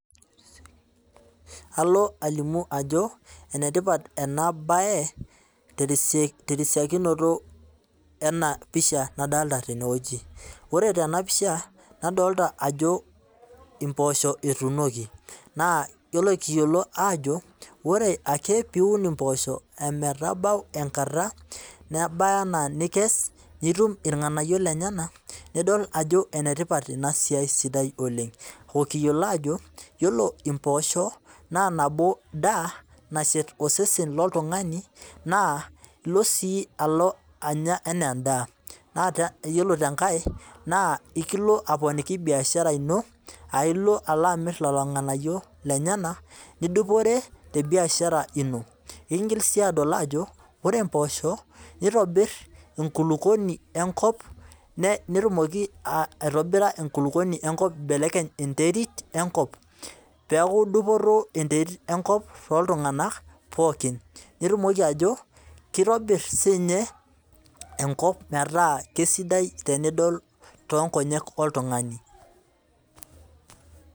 Alo alimu ajo enetipat ena bae terisiokinoto ena pisha nadolita teneeji ,ore tena pisha nadolita ajo mpoosho etunoki naa ore kiyiolo ajo ore ake pee iun mposho ometabau enkata nebaya nikes nitum irganayio lenyenak nidol ajo enetipat ina siai sidai oleng ,okiyiolo ajo ore mposho naa nabo daa nashet osesen loltunganai naaa ilo sii alo anya anaa endaa naa yiolo tenkae ekilo sii aponiki biashara ino ,aa ilo alo amir lelo nganayio lenyenak nidupore tebiashara ino. ekingil sii adol ajo ore mposho neitobir enkulukuoni enkop eibelekenye enterit enkop pee eku dupoto enterit enkop tooltunganak pookin ,keitobir siininye enkop metaa keisidai tenidol toonkonyek oltungani .